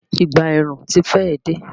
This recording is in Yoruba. Ìgbà ẹ̀rùn ti fẹ́ è dé.